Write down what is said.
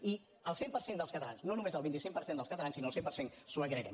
i el cent per cent dels catalans no només el vint cinc per cent dels catalans sinó el cent per cent els ho agrairem